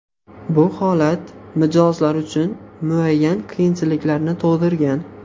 Bu holat mijozlar uchun muayyan qiyinchiliklarni tug‘dirgan.